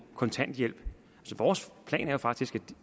kontanthjælp at vores plan jo faktisk er